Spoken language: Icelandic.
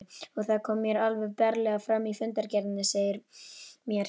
Og það kemur alveg berlega fram í fundargerðinni, segir mér